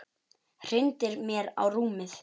Hrindir mér á rúmið.